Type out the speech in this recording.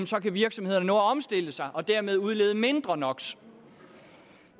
så kan virksomhederne nå at omstille sig og dermed udlede mindre no